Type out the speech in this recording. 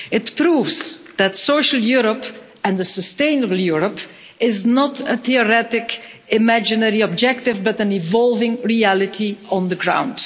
It proves that social Europe and a sustainable Europe is not a theoretic, imaginary objective but an evolving reality on the ground.